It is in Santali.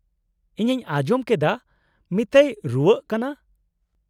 -ᱤᱧᱤᱧ ᱟᱸᱡᱚᱢ ᱠᱮᱫᱟ ᱢᱤᱛᱟᱭ ᱨᱩᱣᱟᱹᱜ ᱠᱟᱱᱟ ᱾